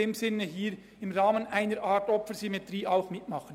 Deshalb würden sie hier mitmachen.